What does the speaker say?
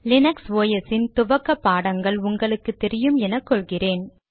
Linux துவக்க பாடங்கள் உங்களுக்கு தெரியும் என கொள்கிறேன்